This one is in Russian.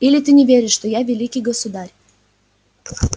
или ты не веришь что я великий государь